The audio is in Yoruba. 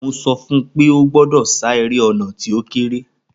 Mo sọfún pé ó gbọ́dọ̀ sá eré ọ̀nà tí ó kééré